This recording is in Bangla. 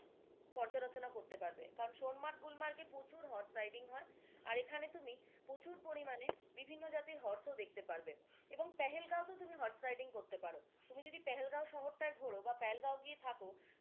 পর্যালোচনা করতে পারবে কারণ সোনমার্গ, গুলমার্গে প্রচুর হর্স রাইডিং হয় আর এখানে তুমি প্রচুর পরিমানে বিভিন্ন জাতের horse ও দেখতে পারবে এবং পেহেলগাঁওতে তুমি হর্স রাইডিং করতে পারো তুমি যদি পেহেলগাঁও শহর টাই ঘোরো বা, পেহেলগাঁও গিয়ে থাকো,